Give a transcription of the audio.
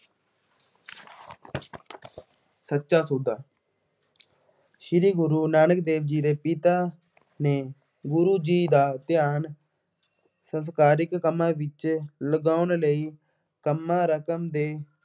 ਸੱਚਾ ਸੌਦਾ, ਸ਼੍ਰੀ ਗੁਰੂ ਨਾਨਕ ਦੇਵ ਜੀ ਦੇ ਪਿਤਾ ਨੇ ਗੁਰੂ ਜੀ ਦਾ ਧਿਆਨ ਸੰਸਾਰਿਕ ਕੰਮਾਂ ਵਿੱਚ ਲਗਾਉਣ ਲਈ